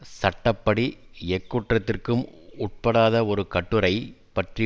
சட்ட படி எக்குற்றத்திற்கும் உட்படாத ஒரு கட்டுரை பற்றி